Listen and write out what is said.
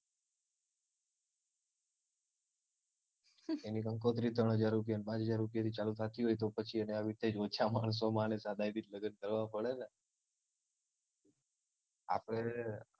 એની કંકોત્રી જ ત્રણ હજાર રૂપ્યાને પાંચ હજાર રુપયાથી ચાલુ થાતી હોય તો એને પછી આવી રીતે જ ઓછા માણસોમાં અને સાદાઈથી જ લગ્ન કરવાં પડે ને આપડે